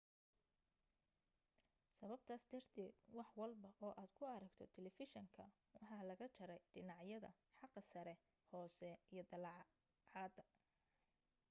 sababtaas darteed wax walba oo aad ku aragto talefishinka waxa laga jaray dhinacyada xagga sare hoose iyo dacallada